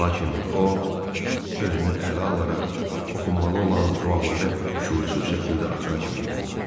Lakin o özünü ələ alaraq oxunmalı olan duaları şüursuz şəkildə axıra kimi oxudu.